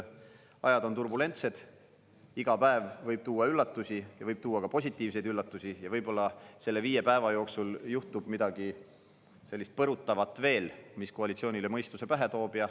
Ajad on turbulentsed, iga päev võib tuua üllatusi, võib tuua ka positiivseid üllatusi ja võib-olla selle viie päeva jooksul juhtub midagi sellist põrutavat veel, mis koalitsioonile mõistuse pähe toob.